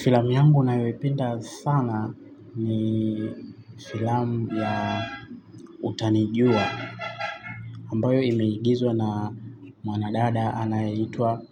Filamu yangu nayoipenda sana ni filamu ya Utanijua ambayo imeigizwa na mwanadada anayeitwa